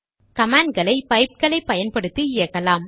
கமாண்ட்களை பைப்களை பயன்படுத்தி இயக்கலாம்